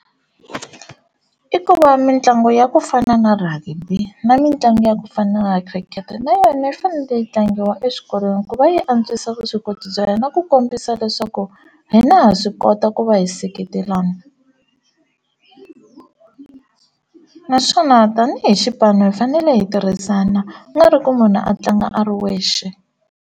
I ku va mitlangu ya ku fana na rugby na mitlangu ya ku fana na khirikete na yona yi fanele yi tlangiwa eswikolweni ku va yi antswisa vuswikoti bya hina na ku kombisa leswaku hina ha swi kota ku va hi seketelana naswona tanihi xipano hi fanele hi tirhisana ku nga ri ku munhu a tlanga a ri wexe.